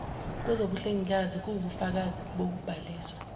kwezobuhlengikazi kuwubufakazi bokubhaliswa